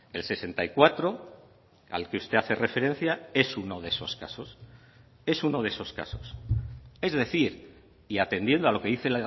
el sesenta y cuatro al que usted hace referencia es uno de esos casos es uno de esos casos es decir y atendiendo a lo que dice